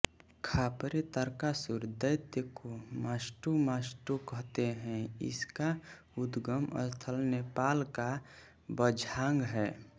खापरे तारकासुर दैत्य को मस्टोमष्टो कहते है इसका उद्गम स्थल नेपालका बझांग है